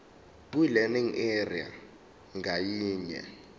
kwilearning area ngayinye